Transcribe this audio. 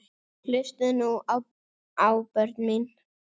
Hlustið nú á, börnin mín.